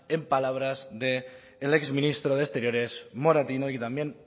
en palabras de el ex ministro de exteriores moratino y también